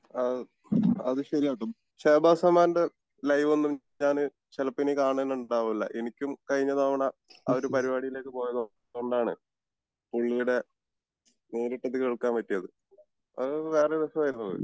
അഹ് അത് ശെരിയാട്ടോ ഷഹബാസ് അമാൻ്റെ ലൈവൊന്നും ഞാന് ചെലപ്പോ ഇനി കാണാൻ ഉണ്ടാവില്ല എനിക്കും കഴിഞ്ഞ തവണ അവര് പരിപാടിയിലേക്ക് പോയത് കൊണ്ടാണ് പുള്ളിടെ നേരിട്ടിട്ട് കേൾക്കാൻ പറ്റിയത് അത് വേറൊരു രസം ആയിരുന്നു അത്